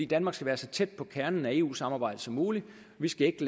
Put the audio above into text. danmark skal være så tæt på kernen af eu samarbejdet som muligt vi skal ikke